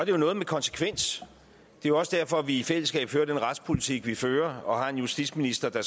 jo noget med konsekvens det er også derfor vi i fællesskab fører den retspolitik vi fører og har en justitsminister der